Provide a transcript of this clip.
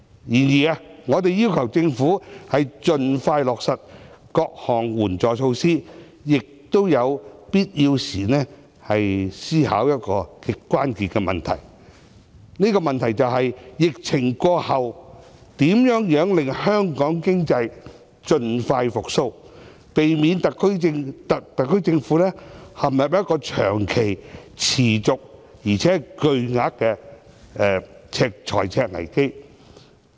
然而，我們要求政府盡快落實各項援助措施的同時，亦要求當局思考一個極令人關注的問題，便是在疫情過後，如何令香港經濟盡快復蘇，避免特區政府陷入長期、持續且巨額的財赤危機。